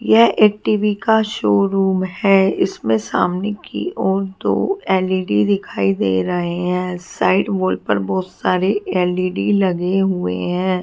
यह एक टी_वी का शोरूम है। इसमे सामने की ओर दो एल_ई_डी दिखाई दे रहे है। साइड वॉल पर बहुत सारे एल_ई_डी लगे हुए है।